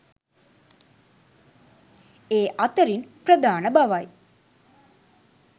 ඒ අතරින් ප්‍රධාන බවයි